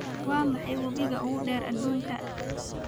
waa maxay webiga ugu dheer aduunka